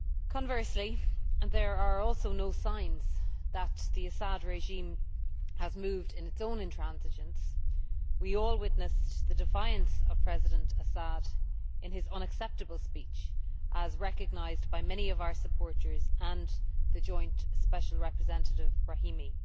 Conversely and there are also no signs that the Assad regime has moved in its own intransigence we all witnessed the defiance of President Assad in his unacceptable speech, as recognised by many of our supporters and Joint Special Representative Brahimi.